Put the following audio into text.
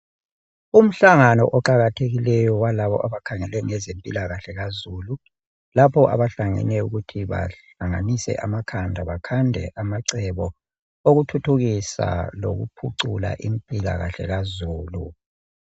Umhlangano oqakathekileyo walabo abakhangele ngezempilakahle kazulu lapho abahlangene ukuthi bahlanganise amakhanda bakhande amacebo okuthuthukisa lokuphucula impilakahle impilo kazulu.